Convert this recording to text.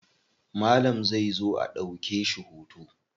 Malam zai zo a ɗauke shi hoto.